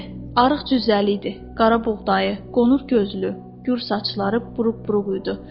Arıq cüzzəli idi, qara buğdayı, qonur gözlü, gür saçları buruq-buruq idi.